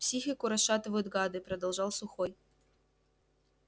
психику расшатывают гады продолжал сухой